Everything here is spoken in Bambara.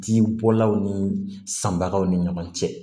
Ji bɔlaw ni sanbagaw ni ɲɔgɔn cɛ